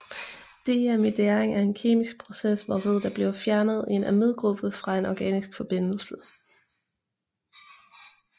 Deamidering er en kemisk process hvorved der bliver fjernet en amidgruppe fra en organisk forbindelse